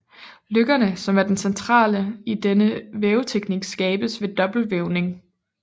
Løkkerne som er centrale i denne væveteknik skabes ved dobbeltvævning